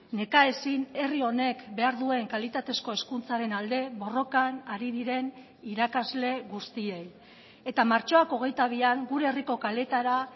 nekaezin herri honek behar duen kalitatezko hezkuntzaren alde borrokan ari diren irakasle guztiei eta martxoak hogeita bian gure herriko kaleetara